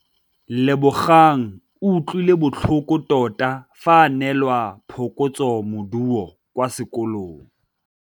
Lebogang o utlwile botlhoko tota fa a neelwa phokotsômaduô kwa sekolong.